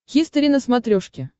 хистори на смотрешке